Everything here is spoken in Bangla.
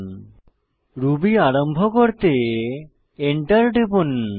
ইন্টারেক্টিভ রুবি আরম্ভ করতে এন্টার টিপুন